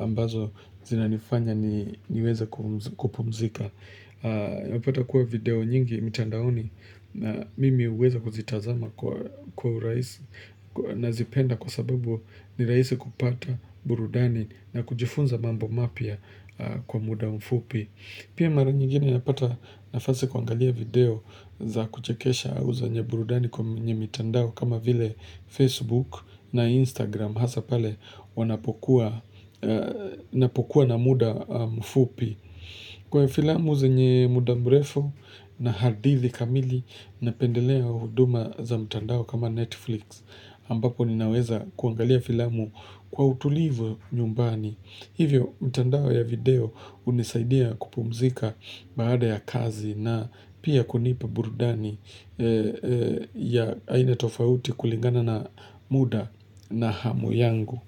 ambazo zinanifanya niweze kupumzika. Unapata kuwa video nyingi mitandaoni Mimi uweza kuzitazama kwa urahisi Nazipenda kwa sababu ni raisi kupata burudani na kujifunza mambo mapya kwa muda mfupi Pia mara nyingine napata nafasi kuangalia video za kuchekesha au za zenye burudani kwenye mitandao kama vile Facebook na Instagram Hasa pale napokuwa na muda mfupi Kwa filamu zenye muda mrefu na hadithi kamili napendelea huduma za mtandao kama Netflix ambapo ninaweza kuangalia filamu kwa utulivu nyumbani. Hivyo mtandao ya video hunisaidia kupumzika baada ya kazi na pia kunipa burdani ya aina tofauti kulingana na muda na hamu yangu.